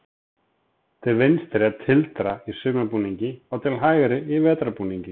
Til vinstri er tildra í sumarbúningi og til hægri í vetrarbúningi